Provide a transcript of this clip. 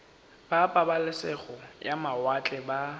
ba pabalesego ya mawatle ba